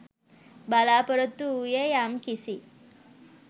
බලාපොරොත්තු වූයේ යම් කිසි